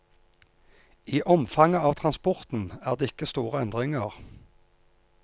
I omfanget av transporten er det ikke store endringer.